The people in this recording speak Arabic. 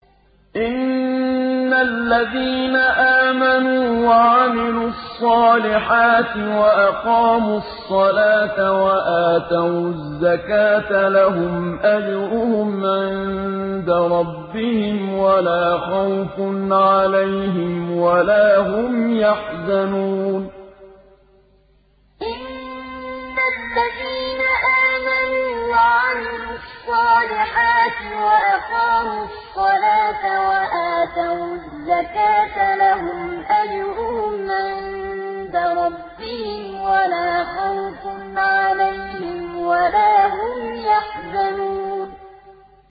إِنَّ الَّذِينَ آمَنُوا وَعَمِلُوا الصَّالِحَاتِ وَأَقَامُوا الصَّلَاةَ وَآتَوُا الزَّكَاةَ لَهُمْ أَجْرُهُمْ عِندَ رَبِّهِمْ وَلَا خَوْفٌ عَلَيْهِمْ وَلَا هُمْ يَحْزَنُونَ إِنَّ الَّذِينَ آمَنُوا وَعَمِلُوا الصَّالِحَاتِ وَأَقَامُوا الصَّلَاةَ وَآتَوُا الزَّكَاةَ لَهُمْ أَجْرُهُمْ عِندَ رَبِّهِمْ وَلَا خَوْفٌ عَلَيْهِمْ وَلَا هُمْ يَحْزَنُونَ